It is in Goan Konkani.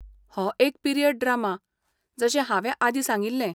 हो एक पीरियड ड्रामा, जशें हांवें आदीं सांगिल्लें.